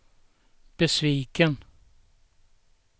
besviken